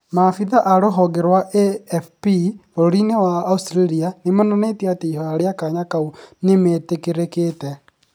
Maabitha rohonge rwa AFP bũrũri-inĩ wa Australia, nĩ monanĩtie ati ihoya ria kanya kau nĩ metĩkĩrĩkĩte.